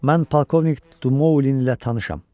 Mən polkovnik Dumoulin ilə tanışam.